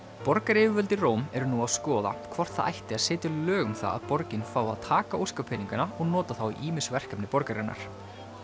borgaryfirvöld í Róm eru nú að skoða hvort það ætti að setja lög um það að borgin fái að taka og nota þá í ýmis verkefni borgarinnar